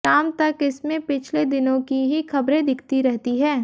शाम तक इसमें पिछले दिनों की ही खबरें दिखती रहती हैं